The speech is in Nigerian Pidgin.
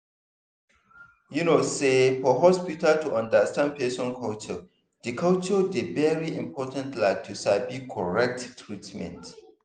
you know say for hospital to understand person culture dey culture dey very important like to sabi correct treatment.